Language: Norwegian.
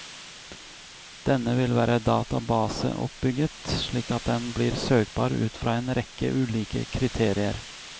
Denne vil være databaseoppbygget slik at den blir søkbar ut fra en rekke ulike kriterier.